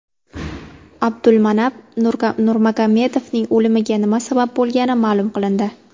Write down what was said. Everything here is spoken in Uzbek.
Abdulmanap Nurmagomedovning o‘limiga nima sabab bo‘lgani ma’lum qilindi.